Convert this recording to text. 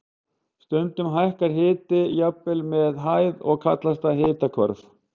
Stundum hækkar hiti jafnvel með hæð og kallast það hitahvörf.